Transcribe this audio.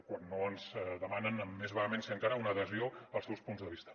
quan no ens demanen amb més vehemència encara una adhesió als seus punts de vista